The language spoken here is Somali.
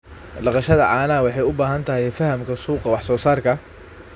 Dhaqashada caanaha waxay u baahan tahay fahamka suuqa wax soo saarka.